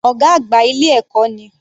Ọ̀gá àgbà ilé ẹ̀kọ́ ni.